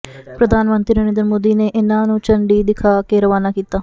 ਪ੍ਰਧਾਨ ਮੰਤਰੀ ਨਰਿੰਦਰ ਮੋਦੀ ਨੇ ਇਨ੍ਹਾਂ ਨੂੰ ਝੰਡੀ ਦਿਖਾ ਕੇ ਰਵਾਨਾ ਕੀਤਾ